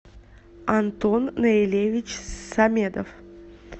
антон наилевич самедов